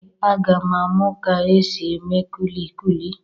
Ee, aga m amụ ka e si eme kulikuli.